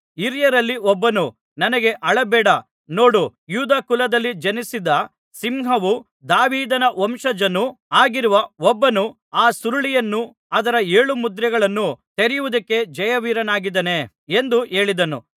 ಹಿರಿಯರಲ್ಲಿ ಒಬ್ಬನು ನನಗೆ ಅಳಬೇಡ ನೋಡು ಯೂದ ಕುಲದಲ್ಲಿ ಜನಿಸಿದ ಸಿಂಹವೂ ದಾವೀದನ ವಂಶಜನೂ ಆಗಿರುವ ಒಬ್ಬನು ಆ ಸುರುಳಿಯನ್ನು ಅದರ ಏಳು ಮುದ್ರೆಗಳನ್ನೂ ತೆರೆಯುವುದಕ್ಕೆ ಜಯವೀರನಾಗಿದ್ದಾನೆ ಎಂದು ಹೇಳಿದನು